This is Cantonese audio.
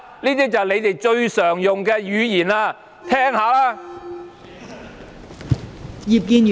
"這便是你們最常用的語言，聽聽吧！